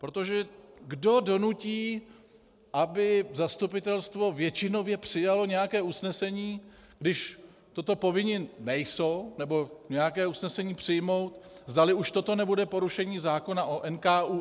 Protože kdo donutí, aby zastupitelstvo většinově přijalo nějaké usnesení, když toto povinni nejsou, nebo nějaké usnesení přijmout, zdali už toto nebude porušení zákona o NKÚ?